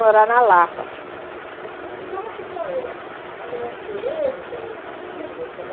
na Lapa, entendi. E como que foi a gravidez, ter os filhos?